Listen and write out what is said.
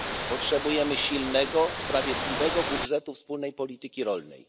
Potrzebujemy silnego, sprawiedliwego budżetu wspólnej polityki rolnej.